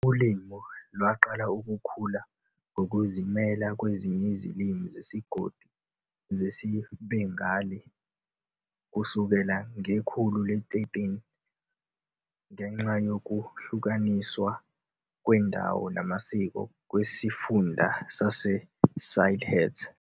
Ulimi lwaqala ukukhula ngokuzimela kwezinye izilimi zesigodi zesiBengali kusukela ngekhulu le-13, ngenxa yokuhlukaniswa ngokwendawo namasiko kwesifunda saseSylhet.